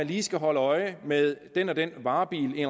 lige skal holde øje med den og den varebil i